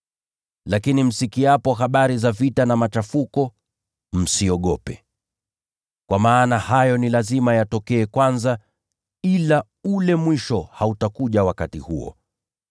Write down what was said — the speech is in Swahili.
Lakini msikiapo habari za vita na machafuko, msiogope. Kwa maana hayo ni lazima yatokee kwanza, ila ule mwisho hautakuja wakati huo.”